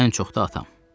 Ən çox da atam.